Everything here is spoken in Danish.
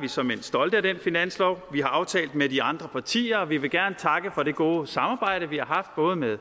vi såmænd stolte af den finanslov vi har aftalt med de andre partier og vi vil gerne takke for det gode samarbejde vi har haft både med